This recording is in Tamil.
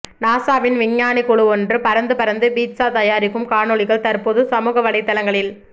நாசாவின் விஞ்ஞானிகள் குழுவொன்று பறந்து பறந்து பீட்சா தாயாரிக்கும் காணொளிகள் தற்போது சமூகவலைத்தளங்களி